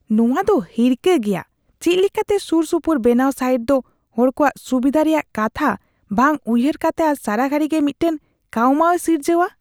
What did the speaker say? ᱱᱚᱶᱟ ᱫᱚ ᱦᱤᱨᱠᱟᱹ ᱜᱮᱭᱟ ᱪᱮᱫ ᱞᱮᱠᱟᱛᱮ ᱥᱩᱨᱥᱩᱯᱩᱨ ᱵᱮᱱᱟᱣ ᱥᱟᱭᱤᱴ ᱫᱚ ᱦᱚᱲ ᱠᱚᱣᱟᱜ ᱥᱩᱵᱤᱫᱷᱟ ᱨᱮᱭᱟᱜ ᱠᱟᱛᱷᱟ ᱵᱟᱝ ᱩᱭᱦᱟᱹᱨ ᱠᱟᱛᱮ ᱟᱨ ᱥᱟᱨᱟᱜᱷᱟᱹᱲᱤ ᱜᱮ ᱢᱤᱫᱴᱟᱝ ᱠᱟᱹᱣᱢᱟᱹᱣᱮ ᱥᱤᱨᱡᱟᱹᱣᱟ ᱾